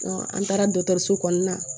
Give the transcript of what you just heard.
an taara dɔgɔtɔrɔso kɔnɔna na